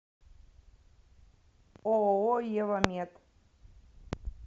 ооо евамед